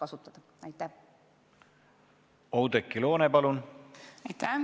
Oudekki Loone, palun!